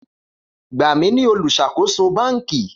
Gba mi ni oluṣakoso banki!